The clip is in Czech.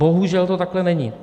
Bohužel to takhle není.